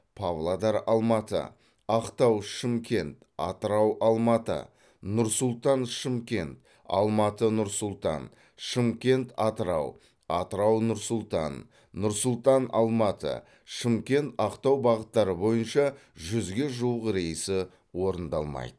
павлодар алматы ақтау шымкент атырау алматы нұр сұлтан шымкент алматы нұр сұлтан шымкент атырау атырау нұр сұлтан нұр сұлтан алматы шымкент ақтау бағыттары бойынша жүзге жуық рейсі орындалмайды